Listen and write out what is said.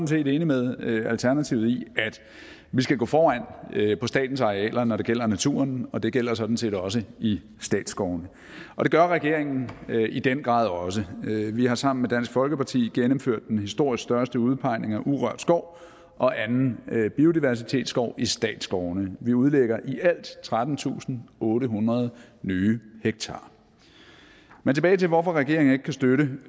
set enig med alternativet i at vi skal gå foran på statens arealer når det gælder naturen og det gælder sådan set også i statsskovene og det gør regeringen i den grad også vi har sammen med dansk folkeparti gennemført den historisk største udpegning af urørt skov og anden biodiversitetsskov i statsskovene vi udlægger alt trettentusinde og ottehundrede nye hektarer men tilbage til hvorfor regeringen ikke kan støtte